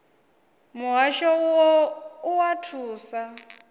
muhasho u o oa thuso